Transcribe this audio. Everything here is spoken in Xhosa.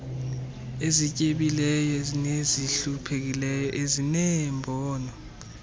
ezityebileyo nezihluphekayo ezineembono